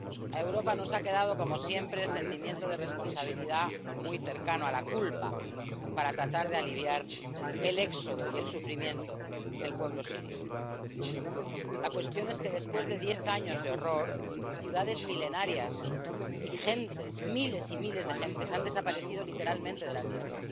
A Europa nos ha quedado, como siempre, el sentimiento de responsabilidad, muy cercano a la culpa, para tratar de aliviar el éxodo y el sufrimiento del pueblo sirio. La cuestión es que, después de diez años de horror, ciudades milenarias y gentes —miles y miles de gentes— han desaparecido literalmente de la tierra.